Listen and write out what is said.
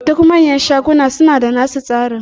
Duk manyan shaguna suna da nasu tsaron.